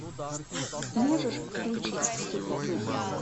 можешь включить все путем